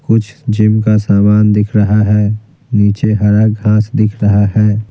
कुछ जिम का सामान दिख रहा है नीचे हरा घास दिख रहा है।